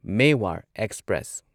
Mewar express